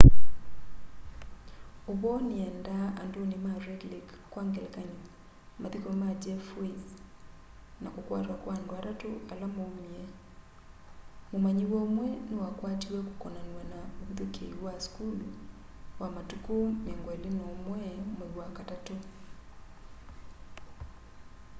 uvoo niendaa anduni ma red lake kwa ngelekany'o mathiko ma jeff weise na kukwatwa kwa andu atatu ala maumie mumanyiwa umwe ni wakwatiwe kukonanywa na uvithukii wa school matuku 21 mwai wa katatu